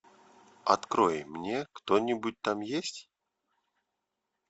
открой мне кто нибудь там есть